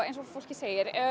eins og fólkið segir